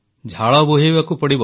ଝାଳ ବୁହାଇବାକୁ ପଡ଼ିବ